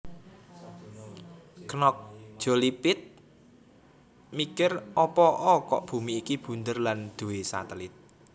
Knox Jolie Pitt mikir opo'o kok bumi iki bunder lan duwe satelit